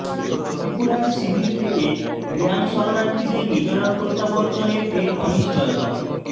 ত্ৰিপুরার শিবির থেকে রিয়াং শরণার্থীদের মিজোরাম প্ৰত্যাবর্তনে ফের অনিশ্চয়তা